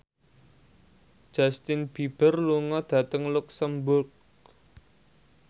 Justin Beiber lunga dhateng luxemburg